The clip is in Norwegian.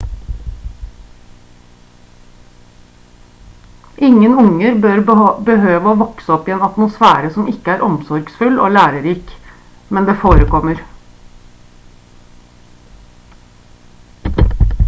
ingen unger bør behøve å vokse opp i en atmosfære som ikke er omsorgsfull og lærerik men det forekommer